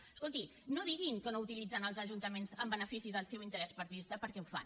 escolti no diguin que no utilitzen els ajuntaments en benefici del seu interès partidista perquè ho fan